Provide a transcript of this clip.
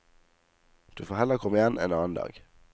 Du får heller komme igjen en annen dag.